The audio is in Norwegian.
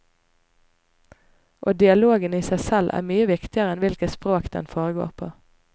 Og dialogen i seg selv er mye viktigere enn hvilket språk den foregår på.